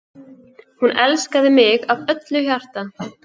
Hún elskaði mig af öllu hjarta.